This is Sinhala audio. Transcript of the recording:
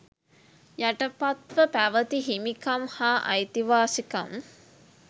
යටපත්ව පැවති හිමිකම් හා අයිතිවාසිකම්